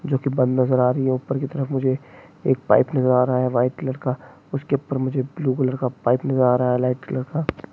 जो कि बंद नजर आ रही है ऊपर की तरफ मुझे एक पाइप नजर आ रहा है व्हाइट लड़का उसके ऊपर मुझे ब्लू कलर का पाइप नजर आ रहा है लाईट कालर का--